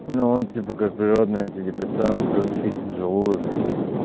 но он типа как природный антидепрессант плюс чистит желудок